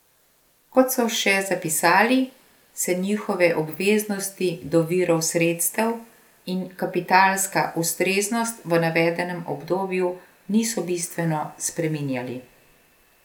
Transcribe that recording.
Kot so še zapisali, se njihove obveznosti do virov sredstev in kapitalska ustreznost v navedenem obdobju niso bistveno spreminjali.